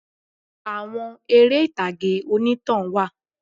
Àwọn eré ìtàgé onítàn wà